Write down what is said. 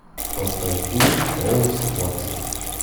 поставь фильм холмс ватсон